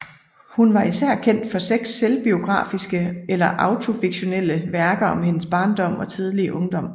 Hun var især kendt for seks selvbiografiske eller autofiktionelle værker om hendes barndom og tidlige ungdom